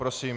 Prosím.